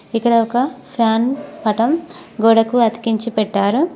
ఇక్కడ ఒక ఫ్యాన్ పటం గోడకు అతికించి పెట్టారు.